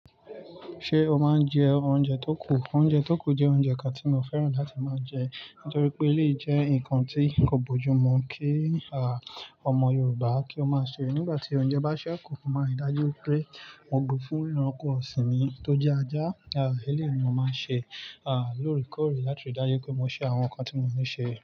Ṣé o máa ń jẹ oúnjẹ tó kù? Oúnjẹ tó kù jẹ́ oúnjẹ kan tí mo fẹ́ràn láti máa jẹ nítorí pé lè jẹ́ ǹkan tí kò bójú mu kí a, ọmọ Yorùbá kí ó máa ṣe nígbà tí oúnjẹ bá ṣẹ́ kù. Mo máa ń ri dájú pé won gbe fún ẹranko ọ̀sìn mi tó jẹ́ ajá. A, eléni mo máa ń ṣe a, lóre kóre láti rí dájú pé mo ṣe àwọn nǹkan tí mo ní ṣe.